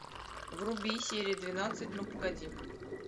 вруби серия двенадцать ну погоди